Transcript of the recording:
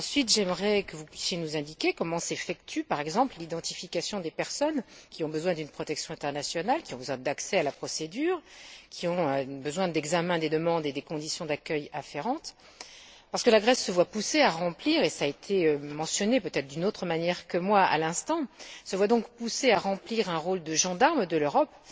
J'aimerais ensuite que vous puissiez nous indiquer comment s'effectue, par exemple, l'identification des personnes qui ont besoin d'une protection internationale, qui ont besoin d'accès à la procédure, qui ont besoin d'examen des demandes et des conditions d'accueil afférentes, parce que la Grèce se voit poussée à remplir cela a été mentionné, peut être d'une autre manière, à l'instant le rôle de gendarme de l'Europe.